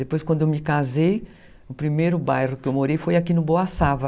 Depois, quando eu me casei, o primeiro bairro que eu morei foi aqui no Boa Sava.